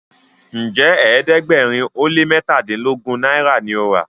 Njé ẹ̀ẹ́dẹ̀gbẹ̀rin o lẹ mẹtadilogun náírà ní o rà?